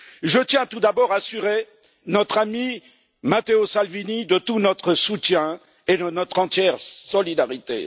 Je tiens, tout d'abord, à assurer notre ami Matteo Salvini de tout notre soutien et de notre entière solidarité.